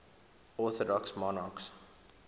orthodox monarchs